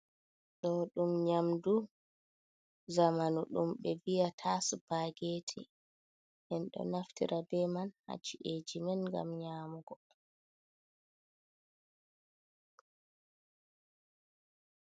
Do dum nyamdu zamanu dum be viya ta supergeti, bedo naftira be man hacci’eji man gam nyamugo